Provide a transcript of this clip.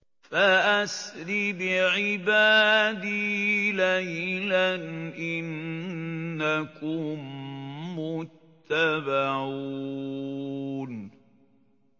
فَأَسْرِ بِعِبَادِي لَيْلًا إِنَّكُم مُّتَّبَعُونَ